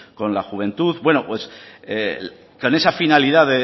con la juventud bueno pues con esa finalidad